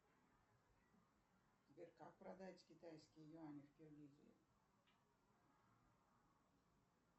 сбер как продать китайские юани в киргизии